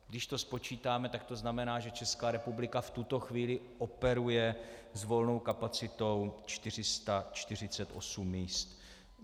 Když to spočítáme, tak to znamená, že Česká republika v tuto chvíli operuje s volnou kapacitou 448 míst.